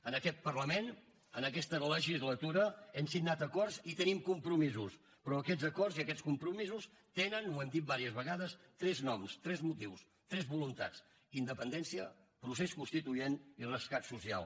en aquest parlament en aquesta legislatura hem signat acords i tenim compromisos però aquests acords i aquests compromisos tenen ho hem dit diverses vegades tres noms tres motius tres voluntats independència procés constituent i rescat social